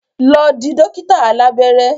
Lọ di dókítà alábẹ́rẹ́!